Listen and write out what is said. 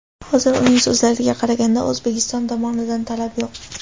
Hozir, uning so‘zlariga qaraganda, O‘zbekiston tomonidan talab yo‘q.